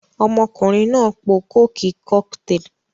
Ọmọkùnrin náà po kókì Cocktail